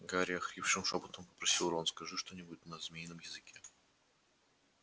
гарри охрипшим шёпотом попросил рон скажи что-нибудь на змеином языке